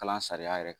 Kalan sariya yɛrɛ